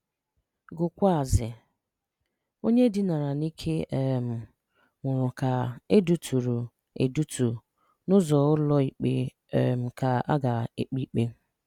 Gụkwuazị: Onye e dinara n' ike um nwụrụ ka e duturu e duturu n' ụzọ ụlọ ikpe um ka a-aga kpe ikpe.